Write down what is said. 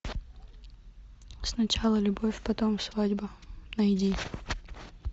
сначала любовь потом свадьба найди